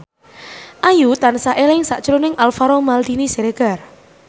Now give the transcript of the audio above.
Ayu tansah eling sakjroning Alvaro Maldini Siregar